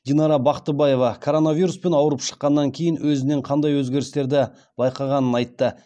динара бақтыбаева коронавируспен ауырып шыққаннан кейін өзінен қандай өзгерістерді байқағанын айтты